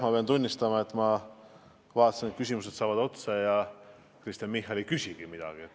Ma pean tunnistama, et ma vaatasin, et küsimused saavad otsa, aga Kristen Michal polegi midagi küsinud.